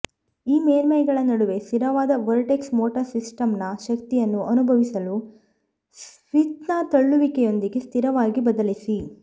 ಈ ಮೇಲ್ಮೈಗಳ ನಡುವೆ ಸ್ಥಿರವಾದ ವರ್ಟೆಕ್ಸ್ ಮೋಟಾರ್ ಸಿಸ್ಟಮ್ನ ಶಕ್ತಿಯನ್ನು ಅನುಭವಿಸಲು ಸ್ವಿಚ್ನ ತಳ್ಳುವಿಕೆಯೊಂದಿಗೆ ಸ್ಥಿರವಾಗಿ ಬದಲಿಸಿ